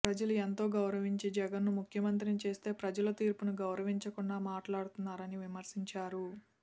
ప్రజలు ఎంతో గౌరవించి జగన్ను ముఖ్యమంత్రిని చేస్తే ప్రజల తీర్పును గౌరవించకుండా మాట్లాడుతున్నారని విమర్శించారు